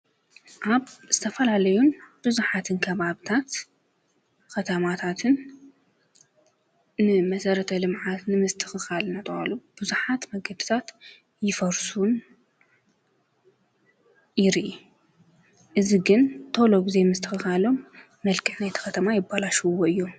ኣብ ዝተፈላለዩን ብዙኃት ኣብታት ኸታማታትን ንመሠረተ ልምዓት ንምስተኽኻል ናትብሃሉ ብዙኃት መገድታት ይፈርሱን ይርእ አየ ግን ቶሎ ብዘይ ምስትኽኻሎም መልዕ ናይቲኸተማ የባላሽውዎ እዮም።